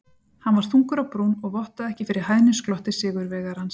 Hann var þungur á brún og vottaði ekki fyrir hæðnisglotti sigurvegarans.